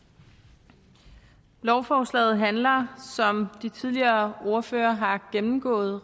lovforslaget handler om de tidligere ordførere har gennemgået